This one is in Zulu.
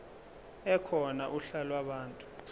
ekhona uhla lwabantu